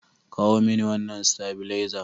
Kawo mini wannan stabilizer!